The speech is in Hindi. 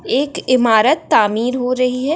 एक इमारत तामीर हो रही है।